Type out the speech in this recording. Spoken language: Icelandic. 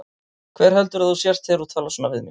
Hver heldurðu að þú sért þegar þú talar svona við mig?